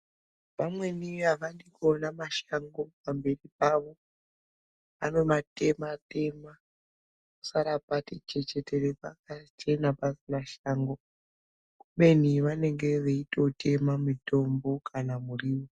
Vamweni avadi kuona mashango pamizi Pavo vanomatema tema posara pati chechetere pamba kuchena pasina Shango ubeni vanenge vachitotema mutombo kana muriwo.